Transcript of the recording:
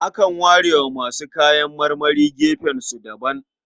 Akan ware wa masu kayan marmari gefensu daban.